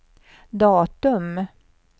datum